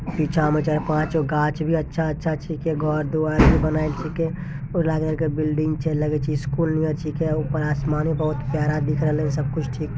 पीछा में चार पाँचगो गाछ भी अच्छा अच्छा घर द्वार भी बनल छी छीके राजा की बिल्डिंद छी लगे छी स्कूल नियर छी के ऊपर आसमान बहुत प्यारा दिख रहलई सब कुछ ठीक --